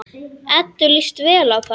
Eddu líst vel á þá.